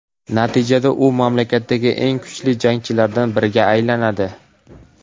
Natijada u mamlakatdagi eng kuchli jangchilardan biriga aylanadi.